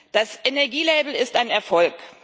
Das Energielabel ist ein Erfolg.